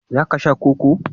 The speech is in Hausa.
za ka Sha Koko?